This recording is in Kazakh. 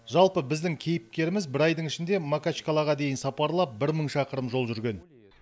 жалпы біздің кейіпкеріміз бір айдың ішінде макачкалаға дейін сапарлап бір мың шақырым жол жүрген